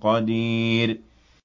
قَدِيرٌ